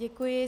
Děkuji.